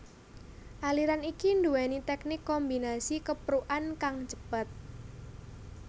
Aliran iki duwéni teknik kombinasi keprukan kang cepet